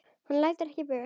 Hann lætur ekki bugast.